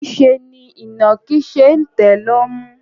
Niṣẹ́ ni ìnàkí ṣe ń tẹ̀ lọ́mú.